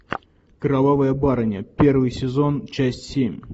кровавая барыня первый сезон часть семь